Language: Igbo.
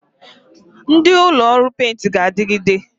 Ndị ụlọ ọrụ prịntịn ga-adịgide